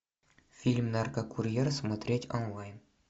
фильм наркокурьер смотреть онлайн